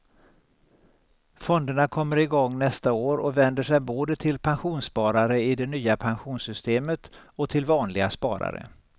Fonderna kommer igång nästa år och vänder sig både till pensionssparare i det nya pensionssystemet och till vanliga sparare.